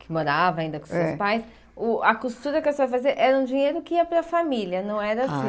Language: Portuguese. que morava ainda com seus pais, o a costura que você fazia era um dinheiro que ia para a família, não era seu?